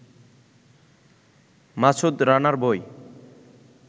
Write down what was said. মাসুদ রানার বই